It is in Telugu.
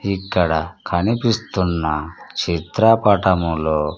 ఇక్కడ కనిపిస్తున్న చిత్రపటములో--